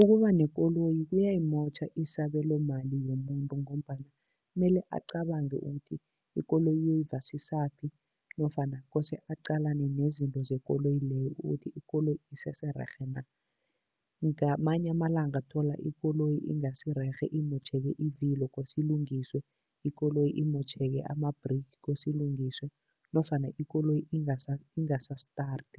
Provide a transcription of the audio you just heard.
Ukuba nekoloyi kuyayimotjha isabelomali yomuntu ngombana mele acabange ukuthi ikoloyi uyoyivasisaphi nofana kose aqalane nezinto zekoloyi leyo ukuthi ikoloyi isesererhe na. Ngamanye amalanga thola ikoloyi ingasirerhe, imotjheke ivilo, kose ilungiswe, ikoloyi imotjheke ama-brake kose ilungiswe nofana ikoloyi ingasa-start